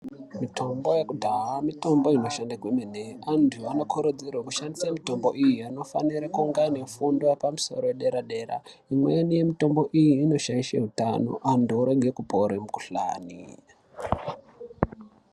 Mitombo yekudhaya mitombo inoshanda kwemene antu anokurudzirwa kushandisa mitombo iyi anofanira kunge ane fundo yepamusoro yedera dera imweni yemitombo iyi inoshaisha hutano antu orega kupona mukuhlani.